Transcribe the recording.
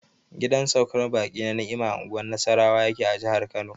Gidan saukar baƙi na Ni'imah a unguwar Nasarawa yake a jihar Kano.